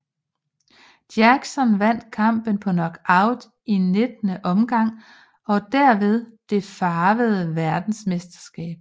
Jackson vandt kampen på knockout i 19 omgang og derved det farvede verdensmesterskab